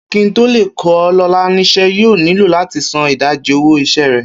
Kí n tó lè kó̩ Lo̩lá nís̩é̩, yóò nílò láti san ìdajì owó is̩é̩ rè̩